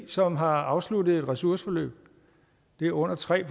som har afsluttet et ressourceforløb og det er under tre